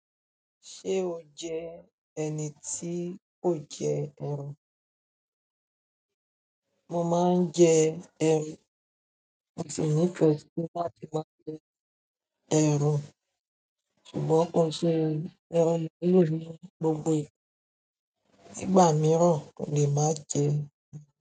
Ṣé o jẹ́ ẹni tí kò jẹ ẹran? Mo máa ń jẹ ẹran, mo tiẹ̀ nífẹ̀ẹ́ sí bá ti máa jẹ ẹran, ṣùgbọ́n kò sí ẹran mélòó ní gbogbo ìgbà. Nígbà mìíràn mò lè má jẹẹ́.